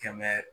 Kɛmɛ